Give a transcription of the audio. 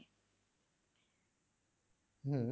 হম